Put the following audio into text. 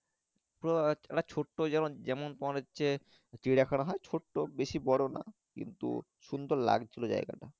তো একটা ছোট্ট যেমন যেমন তোমার হচ্ছে চিড়া খানা হয় ছোট্ট বেশি বোরো নয় কিন্তু খুব সুন্দর লাগছিলো জায়গা টা।